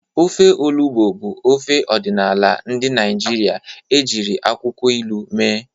Ofe Olugbu bụ ofe ọdịnala ndị Igbo ejiri akwụkwọ ilu mee.